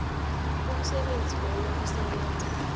umsebenzi loyo usebenza